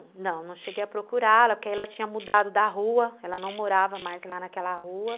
Não, não, não cheguei a procurá-la, porque aí ela tinha mudado da rua, ela não morava mais lá naquela rua.